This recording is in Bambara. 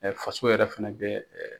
faso yɛrɛ fana bɛ